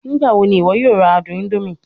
Nigbawo ni iwọ yoo ra adun indomie?